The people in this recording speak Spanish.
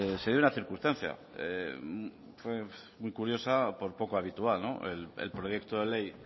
se dio una circunstancia fue muy curiosa por poco habitual no el proyecto de ley